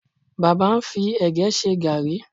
Baba ń fi ẹ̀gẹ́ ṣe gààrí